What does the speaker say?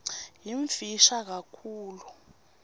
yimfisha kakhulu